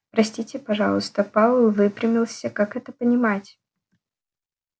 простите пожалуйста пауэлл выпрямился как это понимать